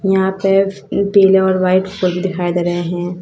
यहां पे पीले और व्हाइट फूल दिखाई दे रहे है।